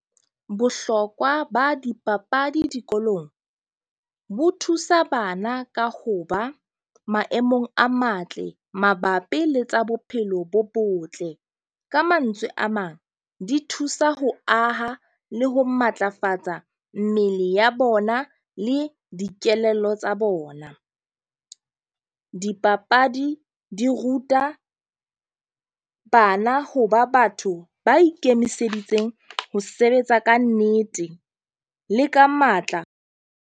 Bohlokwa ba dipapadi dikolong bo thusa bana ka ho ba maemong a matle mabapi le tsa bophelo bo botle. Ka mantswe a mang, di thusa ho aha le ho matlafatsa mmele ya bona le dikelello tsa bona. Dipapadi di ruta bana ho ba batho ba ikemiseditseng ho sebetsa ka nnete le ka matla.